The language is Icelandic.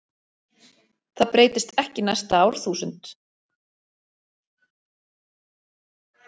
Það breytist ekki næsta árþúsund.